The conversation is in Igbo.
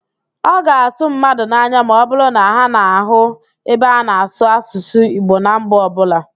Ọ ga-atụ mmadụ n'anya ma ọbụrụ na ha nụ ebe a na-asụ Asụsụ Igbo na mba ọbụla.